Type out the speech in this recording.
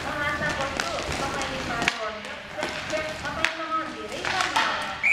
म आशा गर्छु तपाईँले पार गर्नुहुनेछ, तपाईँसँग धेरै सम्भावना छ।